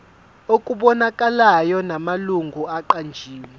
okubonakalayo namalungu aqanjiwe